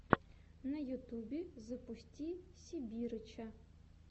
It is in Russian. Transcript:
на ютюбе запусти сибирыча